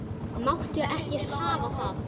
Máttu ekki hafa það.